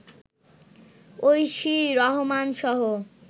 Oishi রহমানসহ